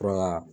Fura ka